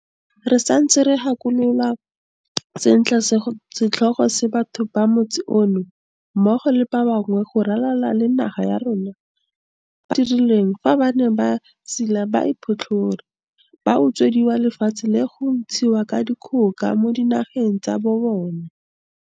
Re santse re gakologelwa sentle setlhogo se batho ba motse ono, mmogo le ba bangwe go ralala le naga ya rona, ba se dirilweng fa ba ne ba siiwa ba iphotlhere, ba utswediwa lefatshe le go ntshiwa ka dikgoka mo dinageng tsa bobona.